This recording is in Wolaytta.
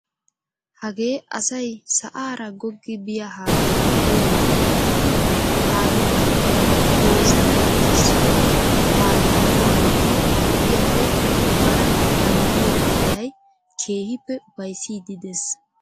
Hagee asay sa'aara goggi biyaa haattaa uyanaappe giidi pabirkkay goozidi keessido haattaa uuyidi harggiyaappe bana naagiyoo hanotay keehippe ufayssiidi de'ees.